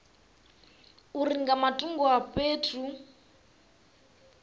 uri nga matungo a fhethu